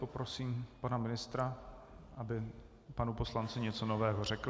Poprosím pana ministra, aby panu poslanci něco nového řekl.